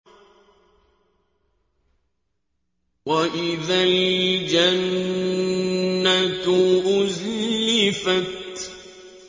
وَإِذَا الْجَنَّةُ أُزْلِفَتْ